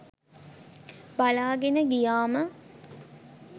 බලාගෙන ගියාම